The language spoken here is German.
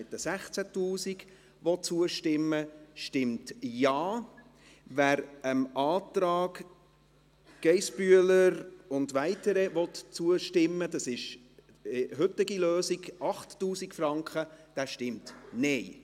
es ist derjenige mit 16 000 Franken – zustimmen will, stimmt Ja, wer dem Antrag Geissbühler und weitere zustimmen will – das ist die heutige Lösung, 8000 Franken –, stimmt Nein.